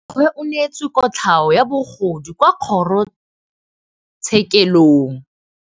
Rragwe o neetswe kotlhaô ya bogodu kwa kgoro tshêkêlông.